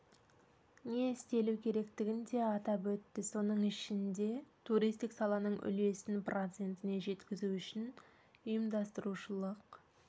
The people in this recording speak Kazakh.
не істелу керектігін де атап өтті соның ішінде туристік саланың үлесін процентіне жеткізу үшін ұйымдастырушылық